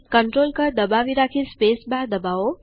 control કળ દબાવી રાખી સ્પેસ બાર દબાવો